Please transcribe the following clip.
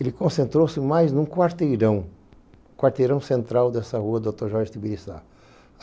Ele concentrou-se mais em um quarteirão, quarteirão central dessa rua, Doutor Jorge Tibirissá.